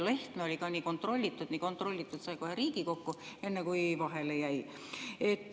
Lehtme oli ka nii kontrollitud, nii kontrollitud, sai kohe Riigikokku, enne kui vahele jäi.